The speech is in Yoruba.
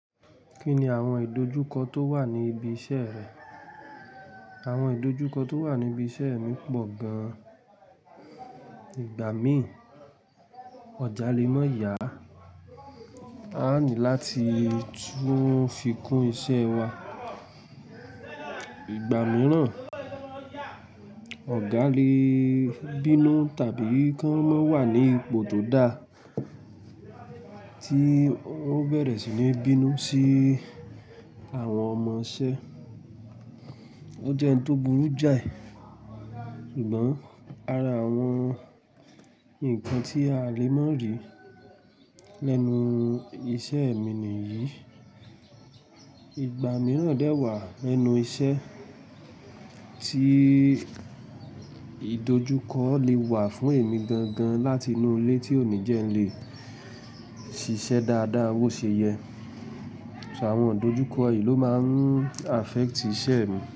Kí ni àwọn ìdojúkọ tó wà ní ibi iṣẹ́ rẹ? Àwọn ìdojúkọ tó wà níbi iṣẹ́ mi pọ̀ gan-an. Ìgbà míì, ọjà lè má yá. A ní láti tún fikún iṣẹ́ wa. Ìgbà mìíràn, ọ̀gá lè bínú tàbí kan máa wà ní ipò tó da tí wọ́n bẹ̀rẹ̀ sí ní bínú sí àwọn ọmọṣẹ́. Ó jẹ́ ń tó burú jáì, ṣùgbọ́n ara àwọn ǹkan tí a lè má rí lẹ́nu iṣẹ́ mi nìyí. Ìgbà mìíràn dè wà lẹ́nu iṣẹ́ tí ìdojúkọ lè wà fún èmi gangan láti inú ilé tí oníjẹ́ lè ṣiṣẹ́ dáadáa, wó ṣe yẹ. So àwọn ìdojúkọ yìí ló máa ń affect iṣẹ́ mi.